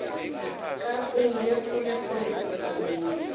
ka o ile kgolekgole dithabeng